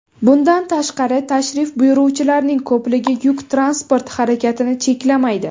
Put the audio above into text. Bundan tashqari, tashrif buyuruvchilarning ko‘pligi yuk transporti harakatini cheklamaydi.